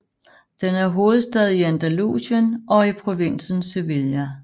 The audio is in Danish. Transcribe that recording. Den er hovedstad i Andalusien og i provinsen Sevilla